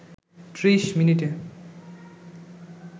৩০ মিনিটে